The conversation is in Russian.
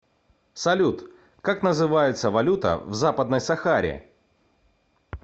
салют как называется валюта в западной сахаре